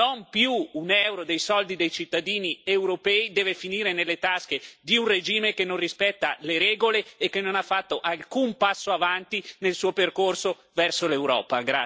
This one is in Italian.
Non più un euro dei soldi dei cittadini europei deve finire nelle tasche di un regime che non rispetta le regole e che non ha fatto alcun passo in avanti nel suo percorso verso l'Europa.